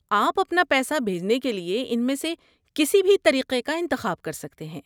آپ اپنا پیسہ بھیجنے کے لیے ان میں سے کسی بھی طریقے کا انتخاب کر سکتے ہیں؟